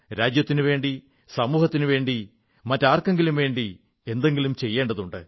രാജ്യത്തിനുവേണ്ടി സമൂഹത്തിനുവേണ്ടി മറ്റാർക്കെങ്കിലും വേണ്ടി എന്തെങ്കിലും ചെയ്യേണ്ടതുണ്ട്